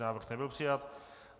Návrh nebyl přijat.